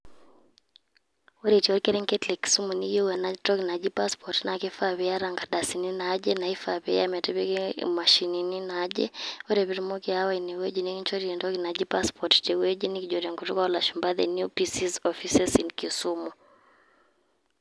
Ore itii orkerenket le Kisumu niyieu enatoki naji passport ,na kifaa piata ikardasini naaje naifaa piiya metipiki imashinini naaje. Ore pitumoki aawa inewueji nikinchori entoki naji passport tewueji nikijo tenkutuk olashumpa the new PCs offices in Kisumu.